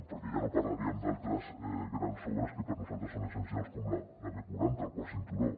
perquè ja no parlaríem d’altres grans obres que per nosaltres són essencials com la b quaranta el quart cinturó